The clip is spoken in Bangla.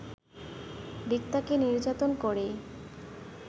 রিক্তাকে নির্যাতন করেই